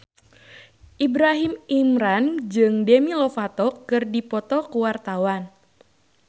Ibrahim Imran jeung Demi Lovato keur dipoto ku wartawan